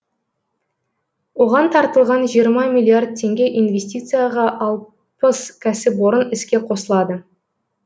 оған тартылған жиырма миллиард теңге инвестицияға ал пыс кәсіпорын іске қосылады